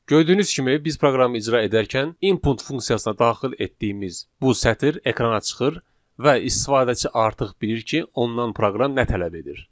Gördüyünüz kimi biz proqramı icra edərkən input funksiyasına daxil etdiyimiz bu sətr ekrana çıxır və istifadəçi artıq bilir ki, ondan proqram nə tələb edir.